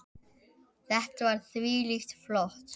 Þetta var þvílíkt flott.